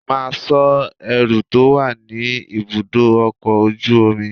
Máa sọ ẹrú tó wà ní ibùdó ọkọ̀ ojú omi!